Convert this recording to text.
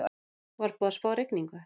Var búið að spá rigningu?